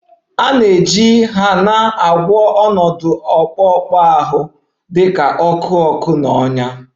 A na-eji Hena agwọ ọnọdụ akpụkpọ ahụ dị ka ọkụ ọkụ na ọnyá